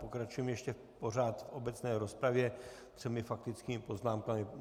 Pokračujeme ještě pořád v obecné rozpravě třemi faktickými poznámkami.